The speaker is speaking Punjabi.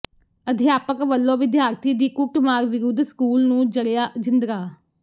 ਅਧਿਆਪਕ ਵੱਲੋਂ ਵਿਦਿਆਰਥੀ ਦੀ ਕੁੱਟਮਾਰ ਵਿਰੁੱਧ ਸਕੂਲ ਨੂੰ ਜਡ਼ਿਆ ਜਿੰਦਰਾ